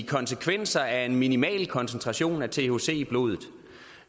konsekvenser af en minimal koncentration af thc i blodet